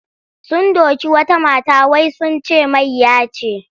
Sun doki wata mata wai sun ce mayya ce.